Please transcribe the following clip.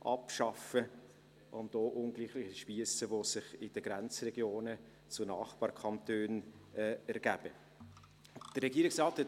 und auch ungleiche Spiesse, die sich in den Grenzregionen zu Nachbarkantonen ergeben, abschaffen.